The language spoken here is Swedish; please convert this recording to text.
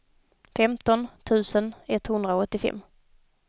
femton tusen etthundraåttiofem